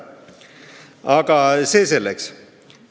Aga see selleks.